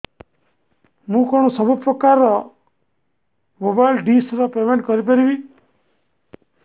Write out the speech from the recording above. ମୁ କଣ ସବୁ ପ୍ରକାର ର ମୋବାଇଲ୍ ଡିସ୍ ର ପେମେଣ୍ଟ କରି ପାରିବି